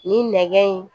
Nin nɛgɛ in